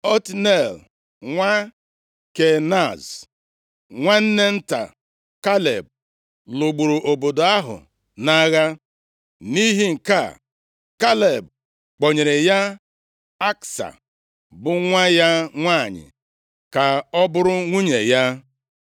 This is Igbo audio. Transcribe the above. Otniel nwa Kenaz, nwanne nta Kaleb, lụgburu obodo ahụ nʼagha. Nʼihi nke a, Kaleb kpọnyere ya Aksa, bụ nwa ya nwanyị ka ọ bụrụ nwunye ya.